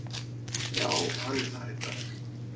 Já hann er það í dag!